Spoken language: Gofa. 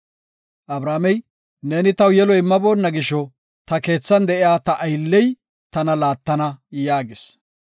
Abramey, neeni taw yelo immaboonna gisho ta keethan de7iya ta aylley tana laattana” yaagis.